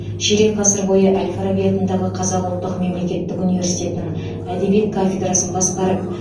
ширек ғасыр бойы әл фараби атындағы қазақ ұлттық мемлекеттік университетінің әдебиет кафедрасын басқарып